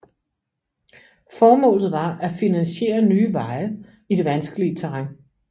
Formålet var at finansiere nye veje i det vanskelige terræn